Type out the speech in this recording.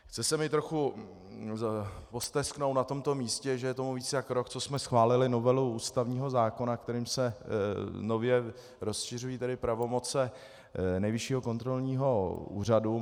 Chce se mi trochu postesknout na tomto místě, že je tomu více jak rok, co jsme schválili novelu ústavního zákona, kterým se nově rozšiřují pravomoci Nejvyššího kontrolního úřadu.